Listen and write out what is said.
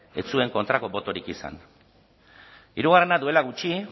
ez zuen kontrako botorik izan hirugarrena duela gutxi